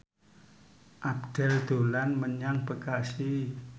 Abdel dolan menyang Bekasi